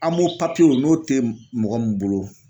papiyew n'o tɛ mɔgɔ min bolo.